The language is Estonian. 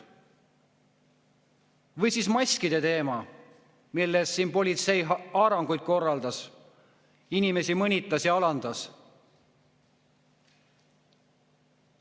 Või siis maskide teema, millega seoses politsei siin haaranguid korraldas ning inimesi mõnitas ja alandas.